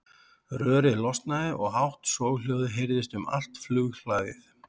Rörið losnaði og hátt soghljóðið heyrðist um allt flughlaðið.